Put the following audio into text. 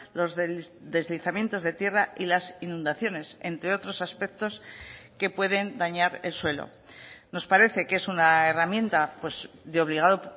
los deslizamientos de tierra y las inundaciones entre otros aspectos que pueden dañar el suelo nos parece que es una herramienta de obligado